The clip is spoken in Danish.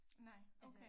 Nej okay